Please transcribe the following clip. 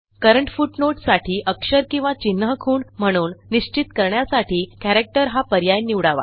current footnote साठी अक्षर किंवा चिन्ह खूण म्हणून निश्चित करण्यासाठी कॅरेक्टर हा पर्याय निवडावा